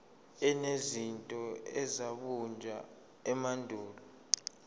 enezinto ezabunjwa emandulo